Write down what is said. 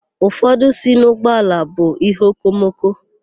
Ụfọdụ sị na ụgbọala bụ íhéokomoko.